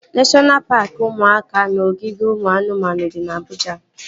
Neshọna paaki ụmụaka na ogige ụmụ anụmanụ dị na Abụja